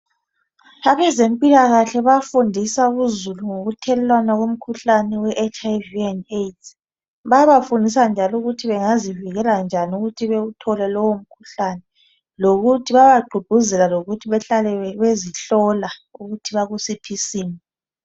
Abezempila kahle bayafundisa uzulu ngokuthelelwana komkhuhlane we HIV and AIDS bayabafundisa njalo ukuthi bengazivikela njani ukuthi bewuthole lowo mkhuhlane lokuthi babagqugquzela lokuthi behlale bezihlola ukuthi bakusiphi isimo.